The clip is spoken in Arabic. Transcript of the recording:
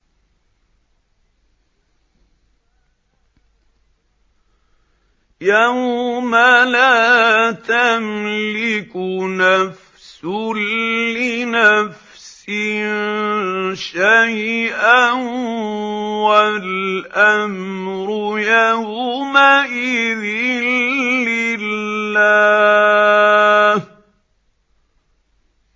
يَوْمَ لَا تَمْلِكُ نَفْسٌ لِّنَفْسٍ شَيْئًا ۖ وَالْأَمْرُ يَوْمَئِذٍ لِّلَّهِ